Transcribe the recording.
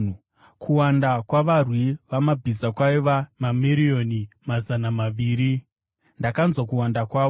Kuwanda kwavarwi vamabhiza kwaiva mamiriyoni mazana maviri. Ndakanzwa kuwanda kwavo.